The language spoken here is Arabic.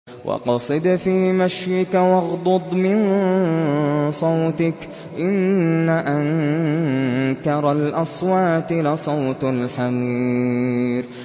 وَاقْصِدْ فِي مَشْيِكَ وَاغْضُضْ مِن صَوْتِكَ ۚ إِنَّ أَنكَرَ الْأَصْوَاتِ لَصَوْتُ الْحَمِيرِ